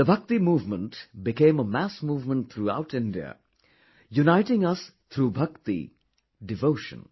The Bhakti movement became a mass movement throughout India, uniting us through Bhakti, devotion